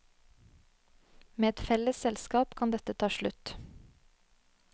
Med et felles selskap kan dette ta slutt.